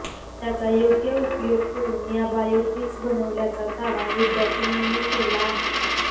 त्याचा योग्य उपयोग करून या बायो ब्रिक्स बनवल्याचा दावा विद्यार्थिनींनी केला आहे